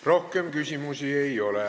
Rohkem küsimusi ei ole.